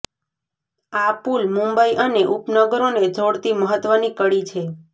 આ પુલ મુંબઇ અને ઉપનગરોને જોડતી મહત્ત્વની કડી છે